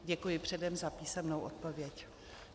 Děkuji předem za písemnou odpověď.